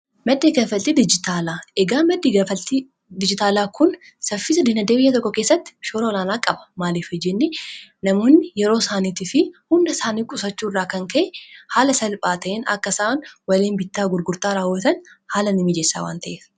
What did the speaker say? maddi kaffaltii dijitaalaa eegaa maddii kaffaltii dijitaalaa kun saffisa dinagdee biyya tokko keessatti shoora olaanaa qaba namoonni yeroo isaaniitii fi hunda isaanii qusachuu irraa kan ka'e haala salphaa ta'in akka isaan waliin bittaa gurgurtaa raawatan haala ni mijeessaa wan ta'e